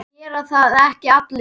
Gera það ekki allir?